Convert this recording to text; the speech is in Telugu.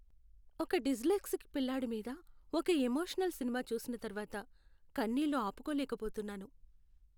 ఒక డిస్లెక్సిక్ పిల్లాడి మీద ఒక ఎమోషనల్ సినిమా చూసిన తర్వాత కన్నీళ్లు ఆపుకోలేకపోతున్నాను.